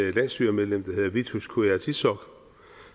et landsstyremedlem der hedder vitus qujaukitsoq